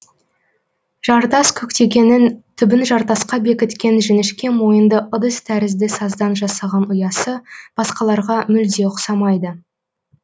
жартас көктекенің түбін жартасқа бекіткен жіңішке мойынды ыдыс тәрізді саздан жасаған ұясы басқаларға мүлде ұқсамайды